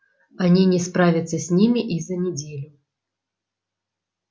они не справятся с ними и за неделю